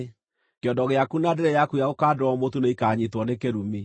Kĩondo gĩaku na ndĩrĩ yaku ya gũkandĩrwo mũtu nĩikanyiitwo nĩ kĩrumi.